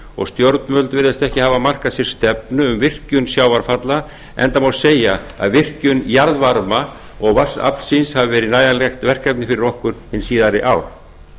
og stjórnvöld virðast ekki hafa markað sér stefnu um virkjun sjávarfalla enda má segja að virkjun jarðvarma og vatnsaflsins hafi verið nægjanlegt verkefni fyrir okkur hin síðari ár